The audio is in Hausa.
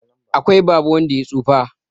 akwai Baba wanda ya tsufa